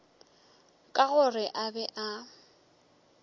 ka gore a be a